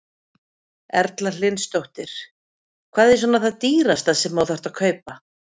Erla Hlynsdóttir: Hvað er svona það dýrasta sem að þú þarft að kaupa?